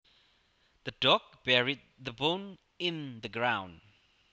The dog buried the bone in the ground